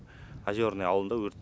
озерное ауылында өрт